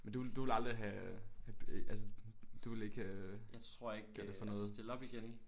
Men du ville du ville aldrig have have altså du ville ikke øh på noget